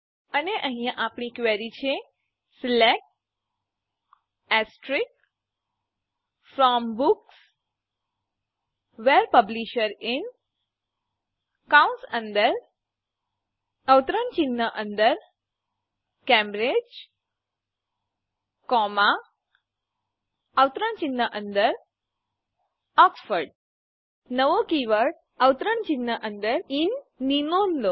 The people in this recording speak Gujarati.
અને અહીંયા આપણી ક્વેરી છે select from books where publisher in Cambridge Oxford નવો કીવર્ડ ઇન ની નોંધ લો